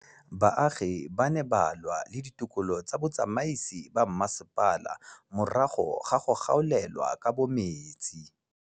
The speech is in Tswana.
Baagi ba ne ba lwa le ditokolo tsa botsamaisi ba mmasepala morago ga go gaolelwa kabo metsi